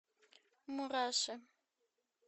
мураши